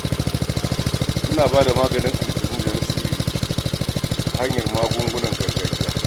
Muna bada maganin aljanu da na sihiri ta hanyar magungunan gargajiya.